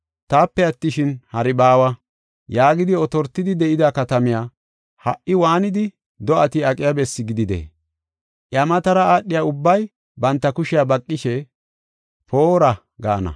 “Taape attishin, hari baawa” yaagidi otortidi de7ida katamay ha77i waanidi do7ati aqiya bessi gididee? Iya matara aadhiya ubbay banta kushiya baqishe, “Poora!” gaana.